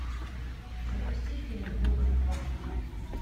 запусти фильм дубль два